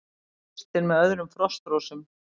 Kristinn með öðrum Frostrósum